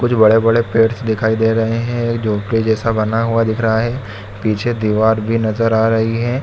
कुछ बड़े बड़े पेड़स दिखाई दे रहें हैं झोपड़ी जैसा बना हुआ दिख रहा है पीछे दीवार भी नजर आ रही है।